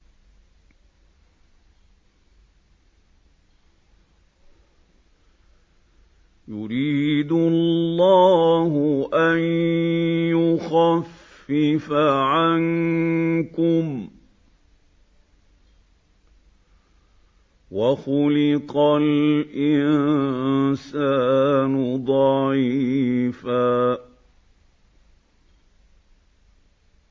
يُرِيدُ اللَّهُ أَن يُخَفِّفَ عَنكُمْ ۚ وَخُلِقَ الْإِنسَانُ ضَعِيفًا